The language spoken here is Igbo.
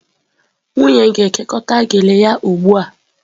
Nwunye na-ekekọta gele ya ugbu a.